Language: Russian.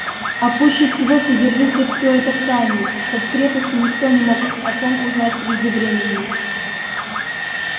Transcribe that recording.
а пуще всего содержите всё это в тайне чтобы в крепости никто не мог о том узнать преждевременно